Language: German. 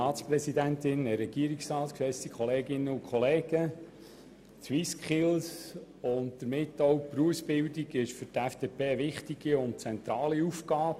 Die SwissSkills und damit auch die Berufsbildung sind für die FDP eine wichtige und zentrale Aufgabe.